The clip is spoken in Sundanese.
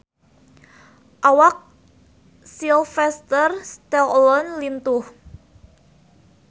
Awak Sylvester Stallone lintuh